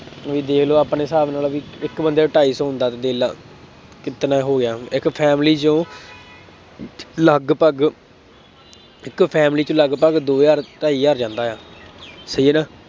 ਤੁਸੀਂ ਦੇਖ ਲਉ ਆਪਣੇ ਹਿਸਾਬ ਨਾਲ ਬਈ ਇੱਕ ਬੰਦੇ ਦਾ ਢਾਈ ਸੌਂ ਹੁੰਦਾ ਦੇਖ ਲਾ ਕਿਤਨਾ ਹੋ ਗਿਆ, ਇੱਕ family ਚੋਂ ਲਗਭਗ ਇੱਕ family ਚ ਲਗਭਗ ਦੋ ਹਜ਼ਾਰ, ਢਾਈ ਹਜ਼ਾਰ ਜਾਂਦਾ ਐ, ਸਹੀ ਹੈ ਨਾ,